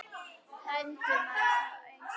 Dæmdur maður sá ei sól.